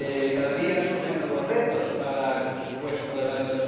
Cada día surgen nuevos retos para el presupuesto del año